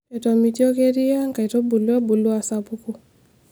etomitioko eriaa inkaitubulu ebulu aasapuku